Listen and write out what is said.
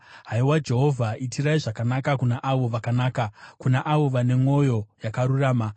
Haiwa Jehovha, itirai zvakanaka, kuna avo vakanaka, kuna avo vane mwoyo yakarurama.